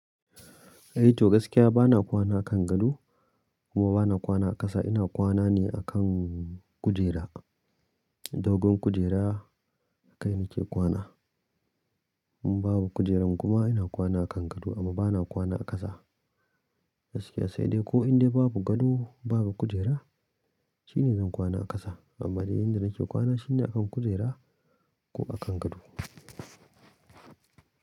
Eh to gaskiya bana kwana a kan gado kuma bana kwana a ƙasa. Ina kwana ne akan kujera, dogon kujera akai nake kwana. In babu kujeran kuma ina kwana a kan gado amma bana kwana a ƙasa gaskiya sai dai ko indai babu gado babu kujera shine zan kwana a ƙasa. Amma dai inda nake kwana shine a kan kujera ko a kan gado.